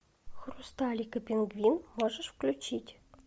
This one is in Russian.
хрусталик и пингвин можешь включить